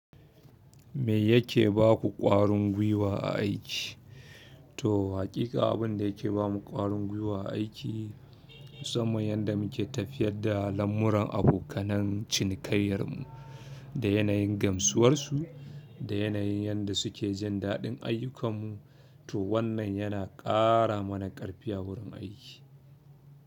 Me yake ba ku ƙwarin gwiwa a aiki? To, hakika abin da yake ba mu ƙwarin gwiwa a aiki, musamman yadda muke tafiyar da lamuran abokan cinikayyar mu, da yanayin gamsuwarsu, da yanayin yadda suke jin daɗin ayyukanmu. To wannan yana ƙara mana ƙarfi a wurin aiki.